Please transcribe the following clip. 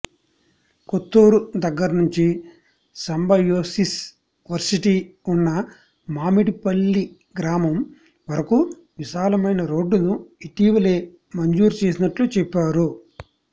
కొత్తూరు దగ్గరనుంచి Symbiosis varsity ఉన్న మామిడిపల్లి గ్రామం వరకు విశాలమైన రోడ్డును ఇటీవలే మంజూరు చేసినట్లు చెప్పారు